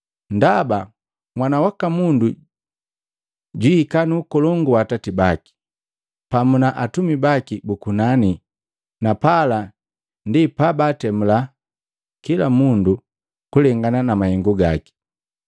Ndaba Mwana waka Mundu jwiika nu Ukolongu wa Atati baki, pamu na atumi baki bu kunani na pala ndi pabantemula kila mundu kulengana na mahengu gaki.